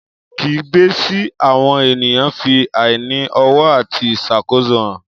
Kígbe sí àwọn ènìyàn fi àìní ọ̀wọ̀ àti ìṣàkóso hàn.